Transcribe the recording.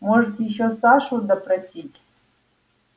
можете ещё сашу допросить